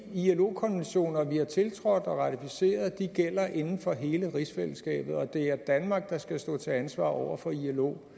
ilo konventioner vi har tiltrådt og ratificeret gælder inden for hele rigsfællesskabet og at det er danmark der skal stå til ansvar over for ilo